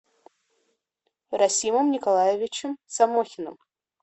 расимом николаевичем самохиным